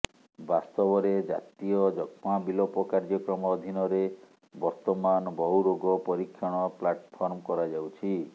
ବାସ୍ତବରେ ଜାତୀୟ ଯକ୍ଷ୍ମା ବିଲୋପ କାର୍ଯ୍ୟକ୍ରମ ଅଧୀନରେ ବର୍ତ୍ତମାନ ବହୁ ରୋଗ ପରୀକ୍ଷଣ ପ୍ଲାଟଫର୍ମ କରାଯାଉଛି